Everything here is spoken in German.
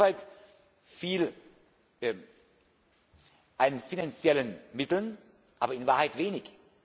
Insoweit viel an finanziellen Mitteln, aber in Wahrheit wenig.